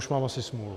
Už mám asi smůlu.